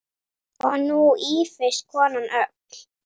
Og nú ýfist konan öll.